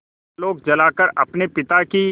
आलोक जलाकर अपने पिता की